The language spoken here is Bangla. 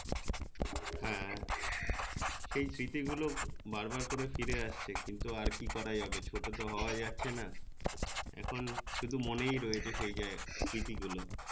হ্যাঁ সেই স্মৃতি গুলো বার বার করে ফিরে আসছে কিন্তু আর কি করা যাবে ছোট তো হওয়া যাচ্ছে না এখন শুধু মনেই রয়েছে জায় সে যে স্মৃতি গুলো